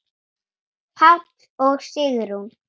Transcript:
Páll og Sigrún.